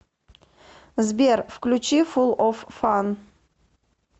сбер включи фул оф фан